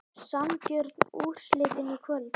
Sanngjörn úrslitin í kvöld?